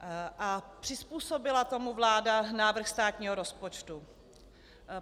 A přizpůsobila tomu vláda návrh státního rozpočtu?